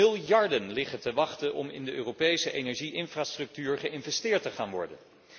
Miljarden liggen te wachten om in de Europese energie infrastructuur geïnvesteerd te worden.